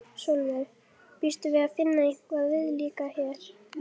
Sólveig: Býstu við að finna eitthvað viðlíka hér?